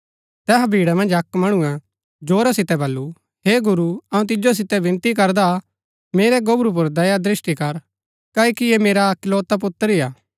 तैहा भीड़ा मन्ज अक्क मणुऐ जोरा सितै बल्लू हे गुरू अऊँ तिजो सितै विनती करदा मेरै गोबरू पुर दयादृष्‍टि कर क्ओकि ऐह मेरा इकलौता ही पुत्र हा